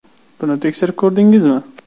Buni tekshirib ko‘rdingizmi?